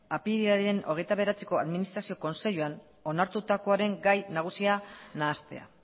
apirilaren hogeita bederatziko administrazio kontseiluan onartutakoaren gai nagusia nahastea